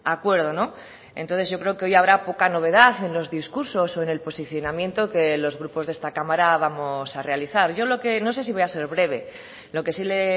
acuerdo entonces yo creo que hoy habrá poca novedad en los discursos o en el posicionamiento que los grupos de esta cámara vamos a realizar yo lo que no sé si voy a ser breve lo que sí le